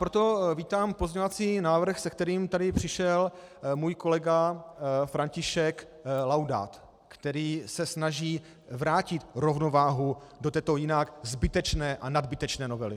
Proto vítám pozměňovací návrh, se kterým tady přišel můj kolega František Laudát, který se snaží vrátit rovnováhu do této jinak zbytečné a nadbytečné novely.